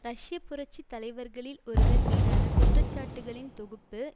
ரஷ்ய புரட்சி தலைவர்களில் ஒருவர் மீதான குற்றச்சாட்டுகளின் தொகுப்பு